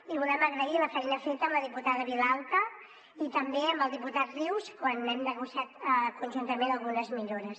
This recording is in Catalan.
i volem agrair la feina feta amb la diputada vilalta i també amb el diputat rius quan hem negociat conjuntament algunes millores